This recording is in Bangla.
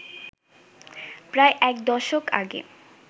প্রায় একদশক আগে